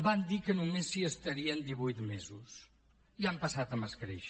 van dir que només s’hi estarien divuit mesos ja han passat amb escreix